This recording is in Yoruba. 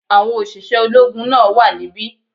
Àwọn òṣìṣẹ́ ológun náà wà níbí